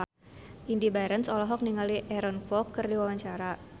Indy Barens olohok ningali Aaron Kwok keur diwawancara